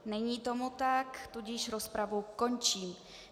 Není tomu tak, tudíž rozpravu končím.